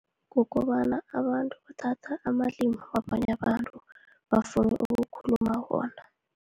Kukobana abantu bathatha amalimu wabanye abantu, bafunu ukukhuluma wona.